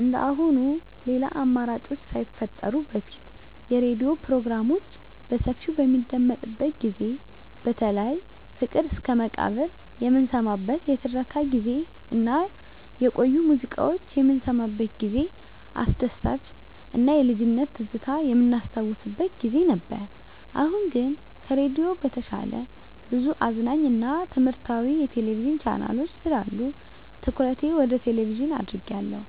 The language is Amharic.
እንደአሁኑ ሌላ አማራጮች ሳይፈጠሩ በፊት የሬዲዮ ፕሮግራሞች በሰፊው በሚደመጥበት ጊዜ በተለይ ፍቅር እስከመቃብር የምንሰማበት የትረካ ጊዜ እና የቆዩ ሙዚቃዎች የምንሰማበት ጊዜ አስደሳች እና የልጅነት ትዝታ የምናስታውስበት ጊዜ ነበር። አሁን ግን ከሬዲዮ በተሻለ ብዙ አዝናኝ እና ትምህረታዊ የቴሌቪዥን ቻናሎች ስላሉ ትኩረቴ ወደ ቴሌቭዥን አድርጌአለሁ።